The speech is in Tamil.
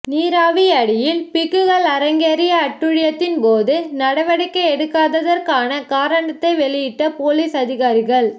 நீராவியடியில் பிக்குகள் அரங்கேறிய அட்டூழியத்தின் போது நடவடிக்கை எடுக்காததற்கான காரணத்தை வெளியிட்ட பொலிஸ் அதிகாரிகள்